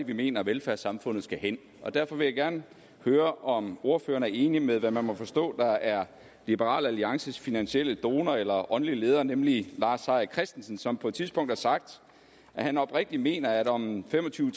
vi mener at velfærdssamfundet skal hen derfor vil jeg gerne høre om ordføreren er enig med hvad man må forstå er liberal alliances finansielle donor eller åndelige leder nemlig lars seir christensen som på et tidspunkt har sagt at han oprigtigt mener at om fem og tyve